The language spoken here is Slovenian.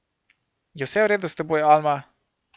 Je vse v redu s teboj, Alma?